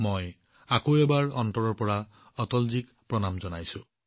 মই আকৌ এবাৰ অটলজীক মোৰ হৃদয়ৰ কোণৰ পৰা নমস্কাৰ জনাইছো